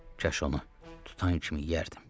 Kaş onu tutan kimi yərdim.